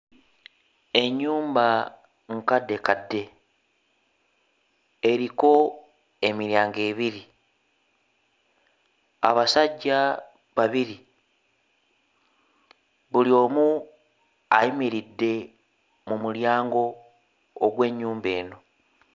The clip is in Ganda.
Ennyumba nkaddekadde eriko emiryango ebiri, abasajja babiri buli omu ayimiridde mu mulyango ogw'ennyumba eno.